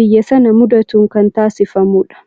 biyya sana mudatuun kan taasifamudha.